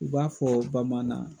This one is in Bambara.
U b'a fɔ bamaanan.